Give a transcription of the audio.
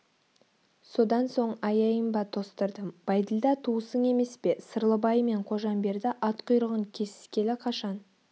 содан соң аяйын ба тостырдым бәйділда туысың емес пе сырлыбай мен қожамберді ат құйрығын кесіскелі қашан